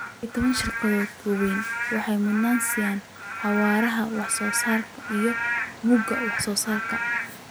12. Shirkadaha waaweyni waxay mudnaan siiyaan xawaaraha wax-soo-saarka iyo mugga wax-soo-saarka.